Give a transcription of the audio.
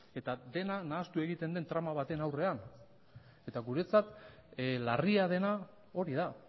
eta dena nahastu egiten den trama batean aurrean eta guretzat larria dena hori da